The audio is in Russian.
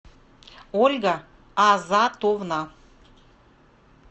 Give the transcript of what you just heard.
ольга азатовна